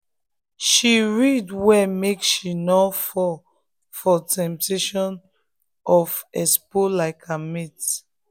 she read well make she no fall for the temptation of expo like her mate.